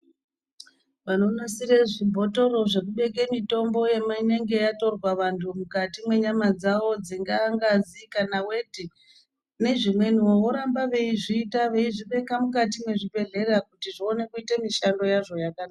Vanonasire zvibhotoro zvekubeke mitombo inenge yatorwa vantu mukati menyama dzavo dzingava ngazi kana weti nezvimwe wo voramba veyi zviita veizvibeka mukati mezvibhedhlera kuti zviwane kuita mushando yazvo yakanaka.